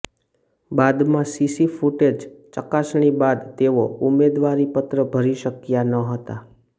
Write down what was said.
બાદમાં CC footage ચકાસણી બાદ તેઓ ઉમેદવારીપત્ર ભરી શક્યા ન હતા